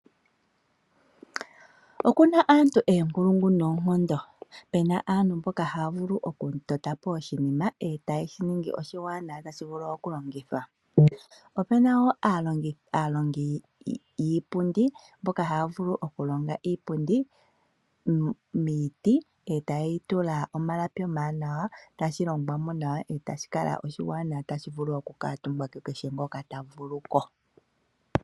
Okuna aantu oonkulungu noonkondo, Pena aantu mboka haa vulu oku totapo oshinima eetayi shiningi oshiwaanawa tashi vulu okulongithwa. Opuna woo aalongi yiipundi mboka haa vulu okulonga iipundi miiti eetaaye yi tula omalapi omawanawa tashi longwamo nawa eetashi vulu oku kaatumbwa kukeshe ngoka ta vulu ko.